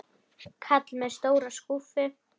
Kall með stóra skúffu.